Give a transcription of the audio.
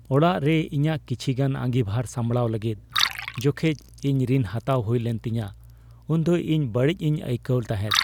ᱚᱲᱟᱜ ᱨᱮ ᱤᱧᱟᱹᱜ ᱠᱤᱪᱷᱤᱜᱟᱱ ᱟᱸᱜᱤᱵᱷᱟᱨ ᱥᱟᱢᱲᱟᱣ ᱞᱟᱹᱜᱤᱫ ᱡᱚᱠᱷᱮᱡ ᱤᱧ ᱨᱤᱱ ᱦᱟᱛᱟᱣ ᱦᱩᱭᱞᱮᱱ ᱛᱤᱧᱟᱹ ᱩᱱ ᱫᱚ ᱤᱧ ᱵᱟᱹᱲᱤᱡ ᱤᱧ ᱟᱹᱭᱠᱟᱹᱣ ᱛᱟᱦᱮᱫ ᱾